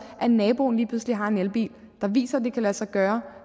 at naboen lige pludselig har en elbil der viser at det kan lade sig gøre